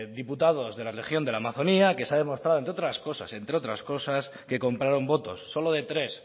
diputados de la región de la amazonía que se ha demostrado entre otras cosas entre otras cosas que compraron votos solo de tres